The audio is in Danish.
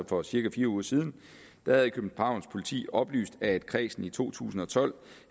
for cirka fire uger siden havde københavns politi oplyst at kredsen i to tusind og tolv